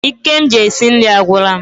Ike ji esi nri agwula m